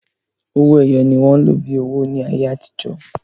Owó èyọ̀ ní wọn lọ́ bí owó ní ayé atijọ.